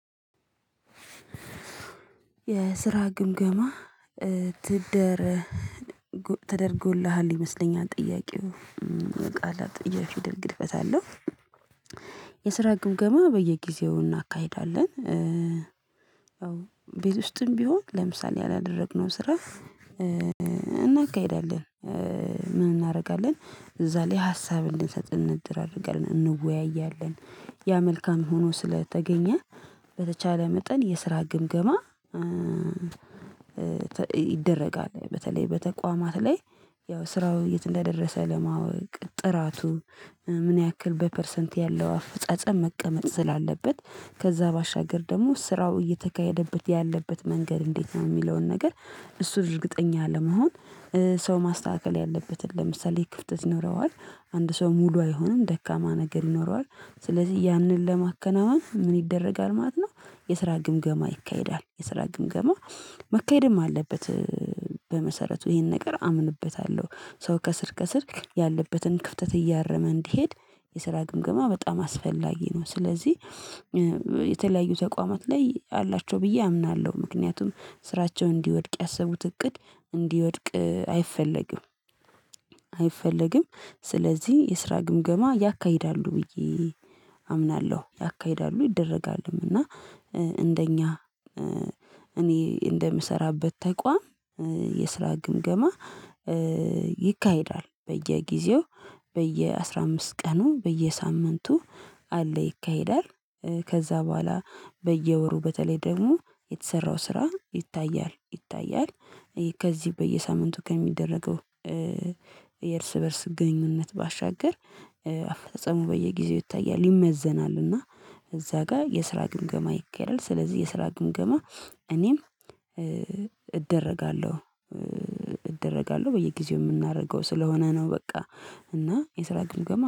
የስራ ግምገማ ትደር ተደርጎልሃል ይመስለኛል ጥያቄው የቃላት የፊደል ግድፈት አለው። የስራ ግምገባ በየጊዜው እናካሂዳለን ቤት ውስጥም ቢሆን ለምሳሌ ያላደረግነው ስራ እናካሂዳለን ምን እናደርጋለን እዛ ላይ ሀሳብ እንድንሰጥ እንድራርጋለን፤ እንወያያለን ያ መልካም ሆኖ ስለተገኘ በተቻለ መጠን የስራ ግምገማ ይደረጋል በተለይ በተቋማት ላይ ያው ስራው የት እንደደረሰ ለማወቅ ጥራቱ ምን ያክል በፐርሰንት ያለው አፈጻጸም መቀመጥ ስላለበት ከዛ ባሻገር ደግሞ ስራው እየተካሄደበት ያለበት መንገድ እንዴት ነው የሚለውን ነገር እሱን እርግጠኛ ለመሆን ሰው ማስተካከል ያለበትን ለምሳሌ ክፍተት ኖረዋል አንድ ሰው ሙሉ አይሆንም ደካማ ነገር ይኖረዋል ስለዚህ ያንን ለማከናወን ምን ይደረጋል ማለት ነው የስራ ግምገማ ይካሄዳል የስራ ግምገማ መካሄድም አለበት፤ በመሰረቱ ይሄን ነገር አምንበታለሁ ሰው ከስር ከስር ያለበትን ክፍተት እያረመ እንዲሄድ የስራ ግምገማ በጣም አስፈላጊ ነው ስለዚህ የተለያዩ ተቋማት ላይ አላቸው ብዬ አምናለሁ ምክንያቱም ስራቸውን እንዲወድቅ ያሰቡት እቅድ እንዲወድቅ አይፈለግም አይፈለግም ስለዚህ የስራ ግምገማ ያካሂዳሉ ብዬ አምናለሁ ያካሂዳሉ ይደረጋሉም እና እንደኛ እኔ እንደምሰራበት ተቋም የስራ ግምገማ ይካሄዳል በየጊዜው በየአስራ አምስት ቀኑ በየሳምንቱ አለ ይካሄዳል ከዛ በኋላ በየወሩ በተለይ ደግሞ የተሰራው ስራ ይታያል ይታያል ከዚህ በየሳምንቱ ከሚደረገው የእርስ በእርስ ግንኙነት ባሻገር አፈጻጸሙ በየጊዜው ይታያል ይመዘናል እና እዛ ጋር የስራ ግምገማ ይካሄዳል ስለዚህ የስራ ግምገማ እኔም እደረጋለሁ እደረጋለሁ በየጊዜው የምናደርገው ስለሆነ ነው በቃ እና የስራ ግምገማ